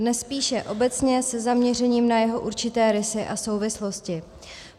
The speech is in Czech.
Dnes spíše obecně, se zaměřením na jeho určité rysy a souvislosti.